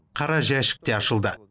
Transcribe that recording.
қара жәшік те ашылды